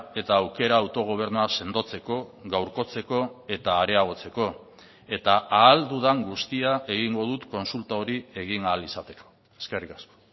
eta aukera autogobernua sendotzeko gaurkotzeko eta areagotzeko eta ahal dudan guztia egingo dut kontsulta hori egin ahal izateko eskerrik asko